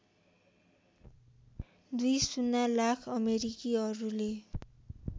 २० lakh अमेरिकीहरूले